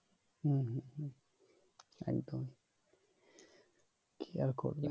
হম একদম কি আর করবে